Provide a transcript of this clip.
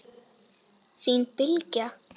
Þín Bylgja.